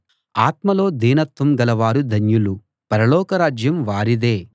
ఆత్మలో దీనత్వం గలవారు ధన్యులు పరలోకరాజ్యం వారిదే